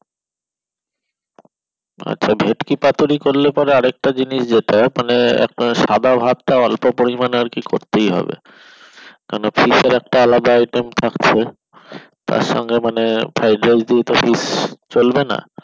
আচ্ছা ভেটকি পাতুরি করলে আর একটা জিনিস যেটা মানে আপনার সাদা ভাতটা অল্প পরিমাণে আর কি করতেই হবে কেননা fish এর একটা আলাদা item থাকছে তার সঙ্গে মানে fried rice দিয়ে তো fish চলবে না